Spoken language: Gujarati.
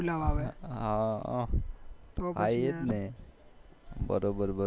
તો પછી યાર